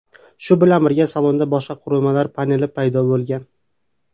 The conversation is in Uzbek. Shu bilan birga, salonda boshqa qurilmalar paneli paydo bo‘lgan.